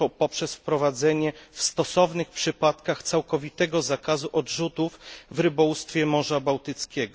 poprzez wprowadzenie w stosownych przypadkach całkowitego zakazu odrzutów w rybołówstwie Morza Bałtyckiego.